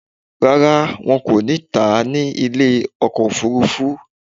Rárá, wọn kò ní tà à ní ilé ọkọ̀ òfurufú